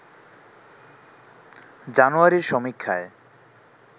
জানুয়ারির সমীক্ষায়